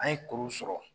An ye kuru sɔrɔ